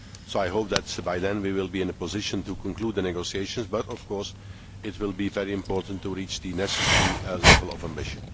I hope that by then we will be in a position to conclude the negotiations, but of course it will be very important to achieve the necessary level of ambition.